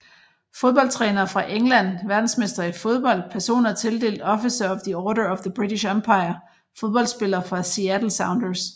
Fodboldtrænere fra England Verdensmestre i fodbold Personer tildelt Officer of the Order of the British Empire Fodboldspillere fra Seattle Sounders